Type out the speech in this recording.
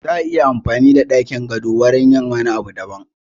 Za'a iya amfani da ɗakin gado wajen yin wani abun daban